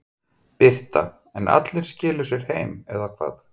Birta: En allir skiluðu sér heim eða hvað?